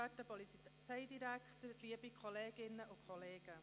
Die Grünliberalen sind bei einem Postulat dabei.